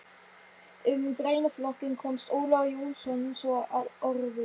Um greinaflokkinn komst Ólafur Jónsson svo að orði